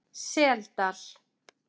Seldal